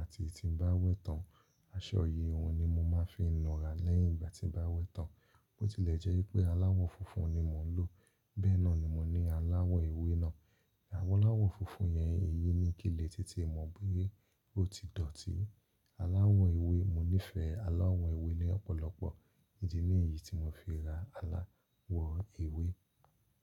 àti tí n bá wẹ̀ tán. Aṣọ yìí òun ni mo máa fi ń nura lẹ́yìn ìgbà tí n bá wẹ̀ tán. Bó tilẹ̀ jẹ́ wipé aláwọ̀ funfun ni mò ń lò, bẹ́ẹ̀ náà ni mo ní aláwọ̀ ewé náà. Àwọn aláwọ̀ funfun yẹn èyí ni kile tí ti mọ̀ bóyé ó ti dọ̀tí. Aláwọ̀ ewé, mo nífẹ̀ẹ́ aláwọ̀ ewé ni ọ́pọ̀lọpọ̀. Idi ni yí tí mo fi ra aláwọ̀ ewé.